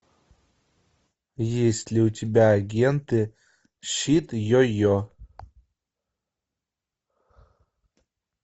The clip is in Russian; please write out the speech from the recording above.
есть ли у тебя агенты щит йо йо